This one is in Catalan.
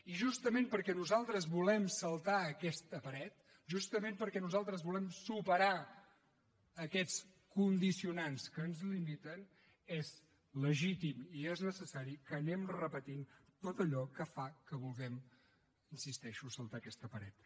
i justament perquè nosaltres volem saltar aquesta paret justament perquè nosaltres volem superar aquests condicionants que ens limiten és legítim i és necessari que anem repetint tot allò que fa que vulguem hi insisteixo saltar aquesta paret